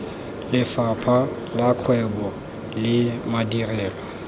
lefapha la kgwebo le madirelo